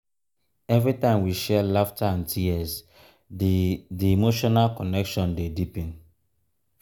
every time we share laughter and tears di di emotional connection dey deepen.